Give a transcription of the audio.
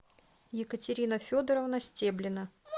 екатерина федоровна стеблина